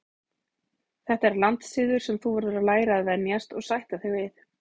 Þetta er landssiður sem þú verður að læra að venjast og sætta þig við.